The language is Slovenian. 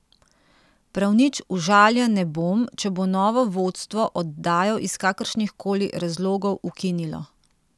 Prav nič užaljen ne bom, če bo novo vodstvo oddajo iz kakršnihkoli razlogov ukinilo.